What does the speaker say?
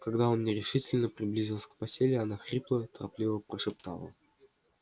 когда он нерешительно приблизился к постели она хрипло торопливо прошептала